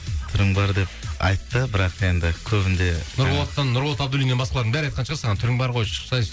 түрің бар деп айтты бірақ енді көбінде нұрболаттан нұрболат абдуллиннен басқалардың бәрі айтқан шығар саған түрін бар ғой шықсайшы